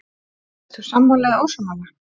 Ert þú sammála eða ósammála?